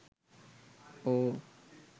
or